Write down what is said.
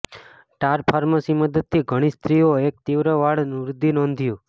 ટાર pharmacy મદદથી ઘણી સ્ત્રીઓ એક તીવ્ર વાળ વૃદ્ધિ નોંધ્યું